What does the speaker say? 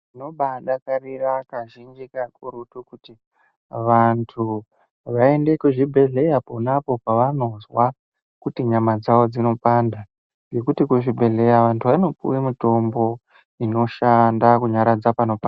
Tinobadakarira kazhinji kakurutu kuti vantu vaende kuzvibhedhlera ponapo pavanonzwa kuti nyama dzawo dzinopanda ngekuti kuzvibhedhlera vantu vanopiwa mitombo inoshanda kunyaradza panopanda.